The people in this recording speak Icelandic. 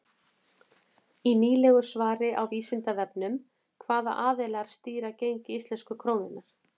Í nýlegu svari á Vísindavefnum Hvaða aðilar stýra gengi íslensku krónunnar?